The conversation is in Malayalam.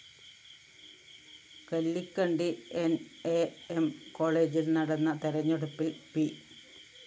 കല്ലിക്കണ്ടി ന്‌ അ എം കോളേജില്‍ നടന്ന തെരഞ്ഞെടുപ്പില്‍ പി